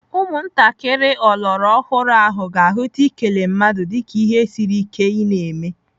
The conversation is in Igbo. Ụmụntakịrị ọlọrọọhụrụ ahụ ga-ahụta ikele mmadu dịka ihe siri ike ị na-eme.